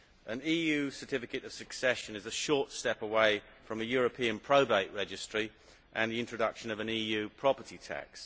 An EU certificate of succession is a short step away from a European probate registry and the introduction of an EU property tax.